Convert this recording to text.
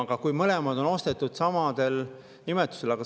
Aga kui mõlemad on ostetud sama nimetusega …